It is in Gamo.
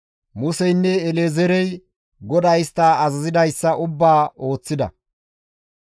Museynne El7ezeerey GODAY istta azazidayssa ubbaa ooththida.